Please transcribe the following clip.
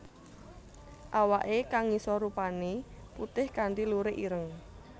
Awake kang ngisor rupané putih kanthi lurik ireng